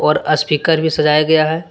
और अस्पीकर भी सजाया गया है।